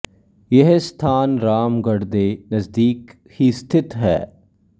ਯਹ ਸਥਾਨ ਰਾਮਗਢ ਦੇ ਨਜ਼ਦੀਕ ਹੀ ਸਥਿਤ ਹੈ